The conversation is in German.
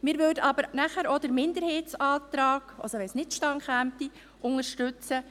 Wenn dies nicht zustande kommt, würden wir nachher auch den Minderheitsantrag zu Artikel 4 Absatz e unterstützen.